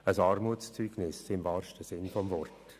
Das ist im wahrsten Sinn des Wortes ein Armutszeugnis.